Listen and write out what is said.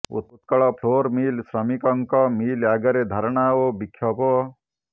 Utkal flour mill ଶ୍ରମିକଙ୍କ mill ଆଗରେ ଧାରଣା ଓ ବିକ୍ଷୋଭ